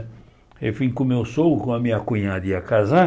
Aí eu vim com o meu sogro, com a minha cunhada ia casar,